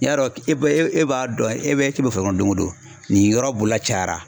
I y'a dɔn e bɛ e e b'a dɔn e bɛ ci kɛ foro kɔnɔ dongo don nin yɔrɔ boloda cayara